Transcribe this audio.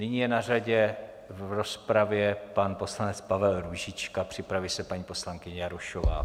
Nyní je na řadě v rozpravě pan poslanec Pavel Růžička, připraví se paní poslankyně Jarošová.